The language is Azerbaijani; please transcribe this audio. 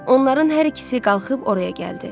Onların hər ikisi qalxıb oraya gəldi.